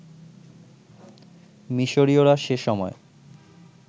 মিশরীয়রা সে সময়